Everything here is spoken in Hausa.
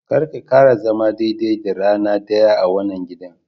karka kara zama daidai da rana daya a wannan gidan.